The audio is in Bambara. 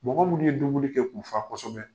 Mɔgɔ minnu ye dumuni kɛ k'u fa kosɛbɛ